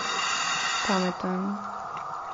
Pameten.